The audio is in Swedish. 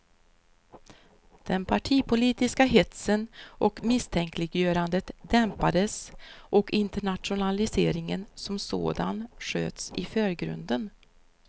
Den partipolitiska hetsen och misstänkliggörandet dämpades och internationaliseringen som sådan sköts i förgrunden.